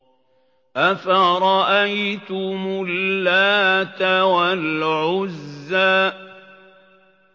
أَفَرَأَيْتُمُ اللَّاتَ وَالْعُزَّىٰ